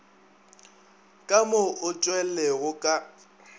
ka mo o tšwelego ka